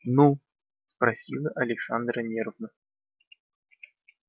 ну спросила александра нервно